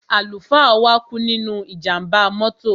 Àlùfáà wa kú nínú ìjàmbá mọ́tò.